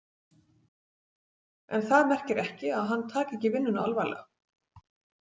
En það merkir ekki að hann taki ekki vinnuna alvarlega.